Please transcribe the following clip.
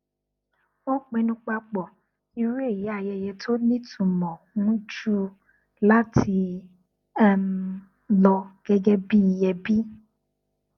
wọn pinnu papọ irú èyí ayẹyẹ tó ní ìtumọ njù láti um lọ gẹgẹ bí i ẹbí